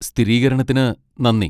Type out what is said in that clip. സ്ഥിരീകരണത്തിന് നന്ദി.